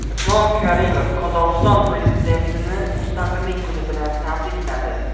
Islom Karimov Qozog‘iston prezidentini Mustaqillik kuni bilan tabrikladi.